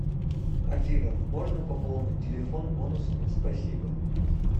афина можно пополнить телефон бонусами спасибо